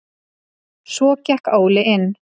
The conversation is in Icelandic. Svo gekk Óli inn.